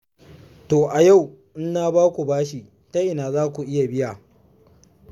To a yau in na ba ku bashi ta ina za ku iya biya?